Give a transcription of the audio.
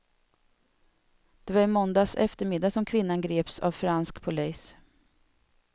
Det var i måndags eftermiddag som kvinnan greps av fransk polis.